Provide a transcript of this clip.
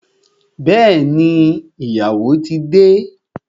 Bẹẹni, ìyàwó ti de